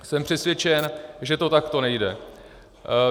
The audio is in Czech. Jsem přesvědčen, že to takto nejde.